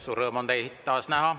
Suur rõõm on teid taas näha.